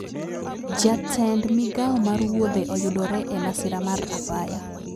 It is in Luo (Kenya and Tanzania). Jatend migao mar wuodhe oyudore e masira mar apaya